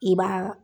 I b'a